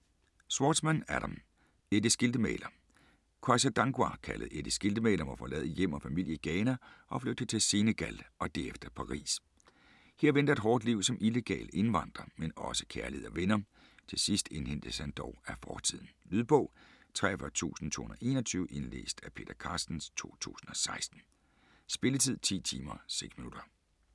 Schwartzman, Adam: Eddie Skiltemaler Kwasi Dankwa, kaldet Eddie Skiltemaler, må forlade hjem og familie i Ghana og flygte til Senegal og derefter Paris. Her venter et hårdt liv som illegal indvandrer, men også kærlighed og venner. Til sidst indhentes han dog af fortiden. Lydbog 43221 Indlæst af Peter Carstens, 2016. Spilletid: 10 timer, 6 minutter.